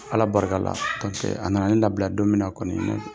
Ala barika la kɔntɛ a nana ne labila don mina kɔni